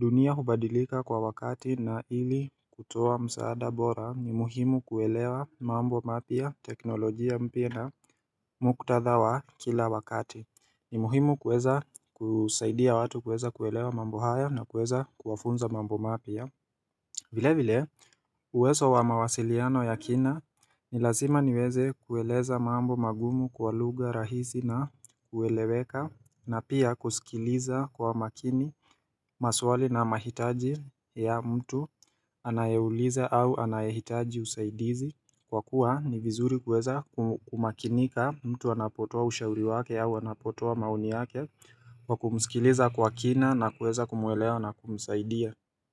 Dunia hubadilika kwa wakati na ili kutoa msaada bora ni muhimu kuelewa mambo mapya, teknolojia mpya na muktadha wa kila wakati. Ni muhimu kuweza kusaidia watu kuweza kuelewa mambo haya na kuweza kuwafunza mambo mapya Vilevile uwezo wa mawasiliano ya kina ni lazima niweze kueleza mambo magumu kwa lugha rahisi na kueleweka na pia kusikiliza kwa makini maswali na mahitaji ya mtu anayeuliza au anayehitaji usaidizi kwa kuwa ni vizuri kuweza kumakinika mtu anapotoa ushauri wake au anapotoa maoni wake kwa kumsikiliza kwa kina na kuweza kumwelewa na kumsaidia.